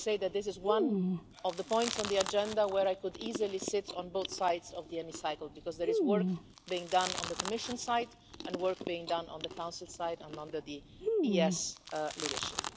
Let me say that this is one of the points on the agenda where I could easily sit on both sides of the Chamber, because there is work being done on the Commission side and work being done on the Council side, as well as under the EEAS leadership.